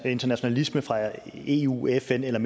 internationalisme fra eu fn eller